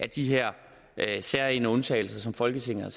de her særegne undtagelser som folketinget